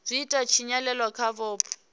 zwi ita tshinyalelo kha vhupo